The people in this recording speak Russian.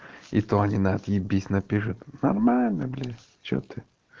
и то они на отъебись напишут нормально блять что ты